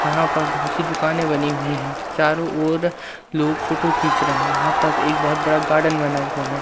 यहां पर बहुत सी दुकानें बनी हुई है चारों ओर लोग फोटो खींच रहे हैं यहां पर एक बहुत बड़ा गार्डन बना हुआ है।